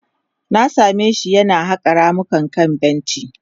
Na same shi yana haƙa ramuka akan benci.